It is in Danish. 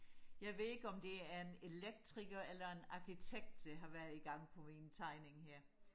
jeg ved ikke om det er en elektriker eller en arkitekt der har været i gang på min tegning her